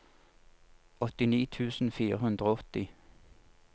åttini tusen fire hundre og åtti